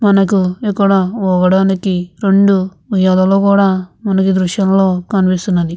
మనకు ఇక్కడ ఊగడానికి రెండు ఉయ్యాలలు కూడా మనకి దృశ్యంలో కనిపిస్తున్నాయి.